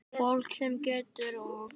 Fólk sem getur og nennir.